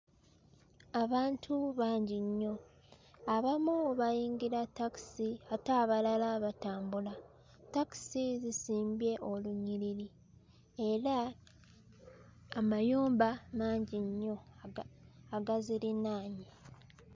Abantu bangi nnyo abamu bayingira takisi ate abalala batambula takisi zisimbye olunyiriri era amayumba mangi nnyo aga agazirinaanye.